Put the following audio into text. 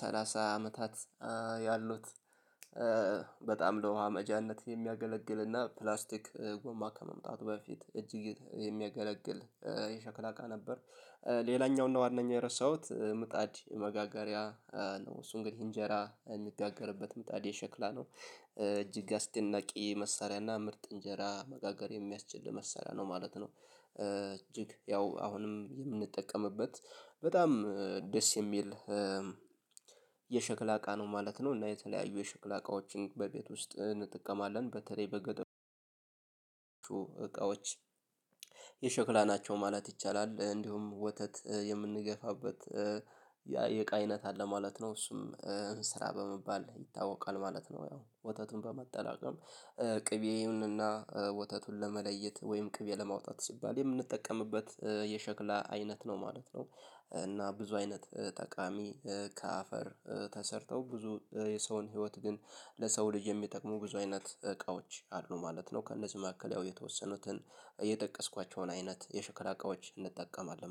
ሰላሳ አመታት ያሉት በጣም ለውሃ መቅጃነት ሚያገለግልና ፕላስቲክ ጎማ ከመምጣቱ በፊት እጅግ የሚያገለግል የሸክላ እቃ ነበር። ሌላኛው እና ዋናኛው የረሳሁት ምጣድ መጋገሪያ እሱ እንግዲህ እንጀራ የምጋገርበት ምጣድ የሸክላ ነው። እጅግ አስደናቂ መሳሪያና ምርጥ እንጀራ መጋገር የሚያስችል መሳሪያ ነው ማለት ነው። ያው አሁንም ምንጠቀምበት በጣም ደስ የሚል የሸክላ እቃ ነው ማለት ነው። እና የተለያዩ የሸክላ እቃዎችን በቤት ውስጥ እንጥቀማለን በተለይ በገጠሩ እቃዎች የሸክላ ናቸው ማለት ይቻላል። እንዲሁም ወተት የምንገፋበት የቃ አይነት አለ ማለት ነው እሱም እንስራ በመባል ይታወቃል ማለት ነው። ያው ወተቱን በማጠራቀም ቅቤውንና ወተቱን ለመለየት ወይም ቅቤ ለማውጣት ሲባል የምንጠቀምበት የሸክላ አይነት ነው ማለት ነው። እና ብዙ አይነት ጠቃሚ ከአፈር ተሰርተው ብዙ የሰውን ህይወት ግን ለሰው ልጅ የሚጠቅሙ ብዙ አይነት እቃዎች አሉ ማለት ነው። ከእነዚህ መካከል ያው የተወሰኑትን እየጠቀስኳቸውን አይነት የሽክላ እቃዎች እንጠቀማለን